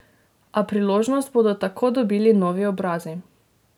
A priložnost bodo tako dobili novi obrazi.